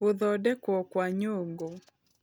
Gũthondekwo kwa Nyũngũ